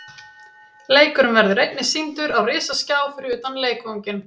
Leikurinn verður einnig sýndur á risaskjá fyrir utan leikvanginn.